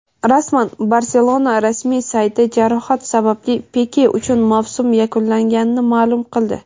Rasman: "Barselona" rasmiy sayti jarohat sababli Pike uchun mavsum yakunlanganini ma’lum qildi;.